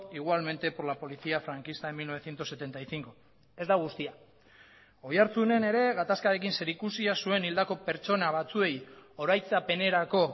igualmente por la policía franquista en mil novecientos setenta y cinco ez da guztia oiartzunen ere gatazkarekin zeri ikusia zuen hildako pertsona batzuei oraitzapenerako